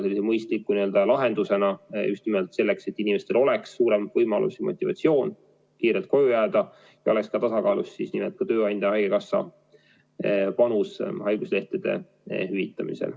See on mõistlik lahendus just nimelt selleks, et inimestel oleks suurem võimalus ja motivatsioon kiirelt koju jääda ja siis oleks ka tasakaalus tööandja ja haigekassa panus haiguslehtede hüvitamisel.